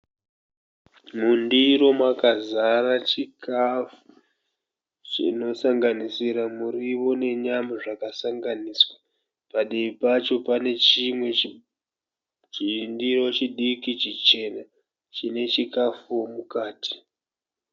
Mundiro makazara chikafu chinosanganisira muriwo nenyama zvakasanganiswa. Padivi pacho pane chimwe chindiro chidiki chichena chine chikafuwo mukati.